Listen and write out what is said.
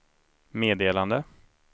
meddelande